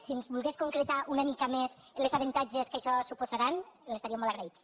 si ens volgués concretar una mica més els avantatges que això suposarà li estaríem molt agraïts